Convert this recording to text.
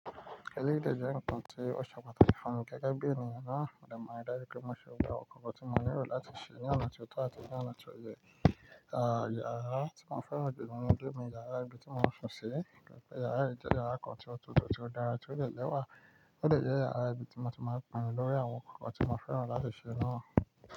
Eléyìí jẹ́ nǹkan tí ó ṣe pàtàkì fún mi gẹ́gẹ́ bí ènìyàn náà. Máa ri dájú pé mo ṣe gbogbo awòn kankan tí mo lerò láti ṣe ní ọ̀nà tió tọ́ àti ní ọ̀nà tó yẹ. À, yàrá tí mo fẹ́ràn jù lọ ní gbogbo ń jẹ́ yàrá ibi tí mo ń sùn sí gẹ́gẹ́ yàrá yìí jẹ́ yàrá kan tí ó tutù, tí ó dára àti ó dè lẹ́ wà. Ó dè jẹ́ yàrá ibi tí mo ti máa ń pinnu lórí àwọn nkankan tí mo fẹ́ràn láti ṣe náà.